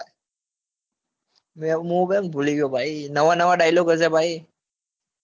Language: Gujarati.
ભાઈ મૂઈ ભૂલી ગયો નવા નવા dialogue હશે ભાઈ